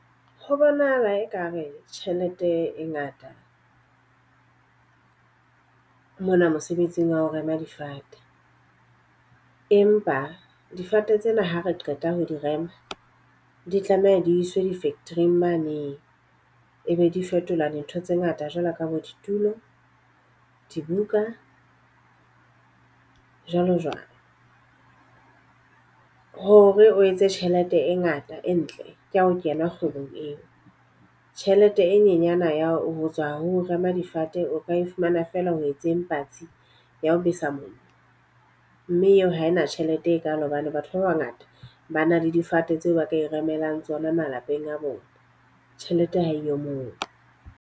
Ho bonahala e ka re tjhelete e ngata mona mosebetsing wa ho rema difate. Empa difate tsena ha re qeta ho di rema di tlameha di iswe di-factory-ing mane. E be di fetola dintho tse ngata jwalo ka bo ditulo, dibuka jwalo jwalo. Hore o etse tjhelete e ngata e ntle ke ya ho kena kgwebong eo. Tjhelete e nyenyane ya ho tswa ho rema difate o ka e fumana feela ho etseng patsi ya ho besa mollo. Mme eo ha ena tjhelete e kalo hobane batho ba ba ngata ba na le difate tseo ba ka e remelang tsona malapeng a bona. Tjhelete ha eyo moo.